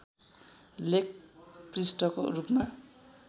लेख पृष्ठको रूपमा